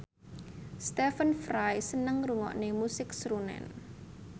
Stephen Fry seneng ngrungokne musik srunen